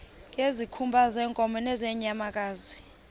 ngezikhumba zeenkomo nezeenyamakazi